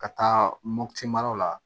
Ka taa mopti mara la